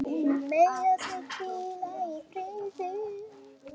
Megi þau hvíla í friði.